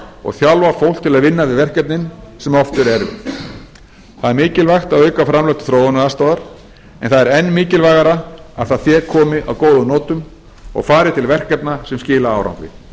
og þjálfa fólk til að vinna við verkefnin sem oft eru erfið það er mikilvægt að auka framlög til þróunaraðstoðar en það er enn mikilvægara að það fé komi að góðum notum og fari til verkefna sem skila árangri